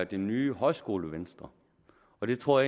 det ny højskolevenstre og det tror